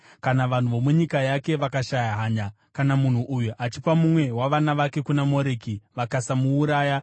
Kana vanhu vomunyika yake vakashaya hanya kana munhu uyu achipa mumwe wavana vake kuna Moreki vakasamuuraya,